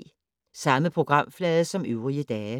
Samme programflade som øvrige dage